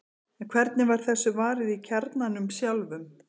en hvernig var þessu varið í kjarnanum sjálfum